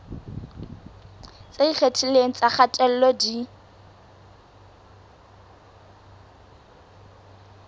tse ikgethileng tsa kgatello di